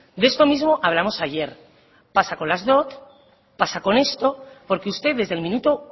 de esto mismo hablamos ayer pasa con las dot pasa con esto porque usted desde el minuto